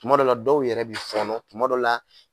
Tuma dɔ la dɔ yɛrɛ bi fɔnɔ, tuma dɔ la